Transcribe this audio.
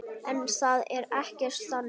En það er ekkert þannig.